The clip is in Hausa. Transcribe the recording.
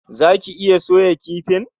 Zaki iya soya kifin?